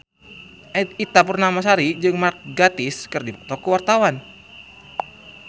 Ita Purnamasari jeung Mark Gatiss keur dipoto ku wartawan